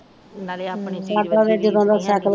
ਨਾਲੇ ਆਪਣੀ ਚੀਜ ਵਰਗੀ ਰੀਸ ਨੀ ਹੇਗੀ